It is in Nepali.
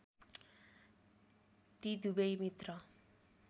ती दुबै मित्र